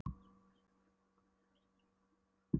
Skömmu síðar voru Bogga og Þura steinsofnaðar á dívaninum.